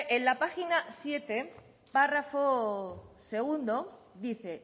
en la página siete párrafo segundo dice